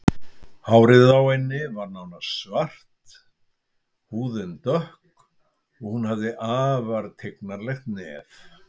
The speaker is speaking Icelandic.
Hárið á henni var nánast svart, húðin dökk og hún hafði afar tignarlegt nef.